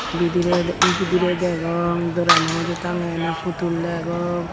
bidirey de bidirey degong dooranaw uju tangeyonnye phutul degong.